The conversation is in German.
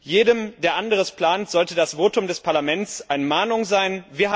Jedem, der anderes plant, sollte das Votum des Parlaments eine Mahnung sein.